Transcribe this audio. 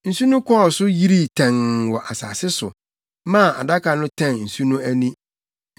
Nsu no kɔɔ so yirii tɛnn wɔ asase so, maa Adaka no tɛn nsu no ani.